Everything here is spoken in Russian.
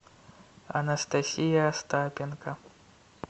анастасия остапенко